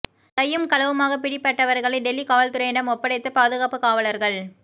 கையும் களவுமாக பிடிப்பட்டவர்களை டெல்லி காவல்துறையிடம் ஒப்படைத்த பாதுகாப்பு காவலர்கள்